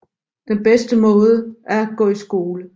Den bedste måde er at gå i skole